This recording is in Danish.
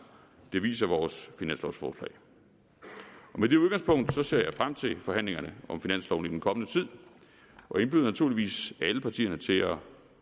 det viser vores finanslovforslag med det udgangspunkt ser jeg frem til forhandlingerne om finansloven i den kommende tid og indbyder naturligvis alle partierne til at